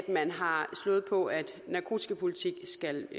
man har slået på at narkotikapolitik skal